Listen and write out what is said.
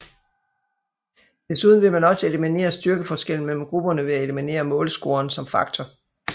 Desuden ville man også eliminere styrkeforskellen mellem grupperne ved at eliminere målscoren som faktor